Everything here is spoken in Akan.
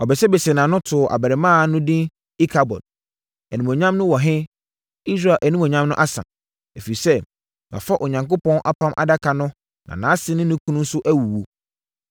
Ɔbesebesee nʼano too abarimaa no edin Ikabod, “Animuonyam no wɔ he, Israel animuonyam no asa,” ɛfiri sɛ, wɔafa Onyankopɔn Apam Adaka no na nʼase ne ne kunu nso awuwu.